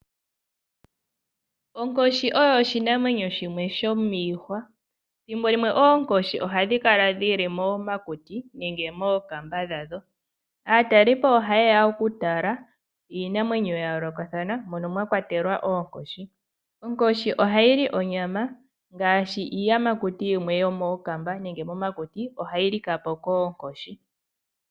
Onkoshi oyo oshinamwenyo shimwe shomiihwa. Thimbo limwe oonkoshi ohadhi kala dhili momakuti nenge mookamba dhadho. Aatalelipo ohaye ya oku tala iinamwenyo yayolokathana mono mwakwatelwa oonkoshi. Onkoshi ohayi li onyama. Ngaashi iiyamakuti yimwe yomokamba nenge momakuti ohayi lika po koonkoshi.